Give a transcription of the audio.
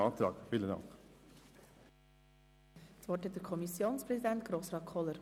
Das Wort hat der Kommissionspräsident, Grossrat Kohler.